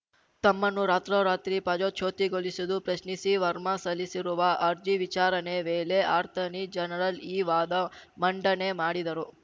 ತಮ್ಮನ್ನು ರಾತ್ರೋರಾತ್ರಿ ಪದಚ್ಯುತಿಗೊಳಿಸಿದ್ದು ಪ್ರಶ್ನಿಸಿ ವರ್ಮಾ ಸಲ್ಲಿಸಿರುವ ಅರ್ಜಿ ವಿಚಾರಣೆ ವೇಳೆ ಅರ್ತಾನಿ ಜನರಲ್‌ ಈ ವಾದ ಮಂಡನೆ ಮಾಡಿದರು